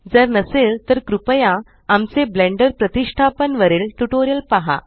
जर नसेल तर कृपया आमचे ब्लेंडर प्रतीष्टापन वरील ट्यूटोरियल पहा